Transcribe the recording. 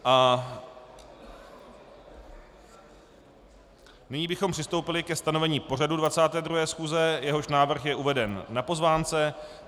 Nyní bychom přistoupili ke stanovení pořadu 22. schůze, jehož návrh je uveden na pozvánce.